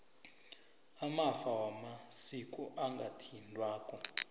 amafa wamasiko angathintwako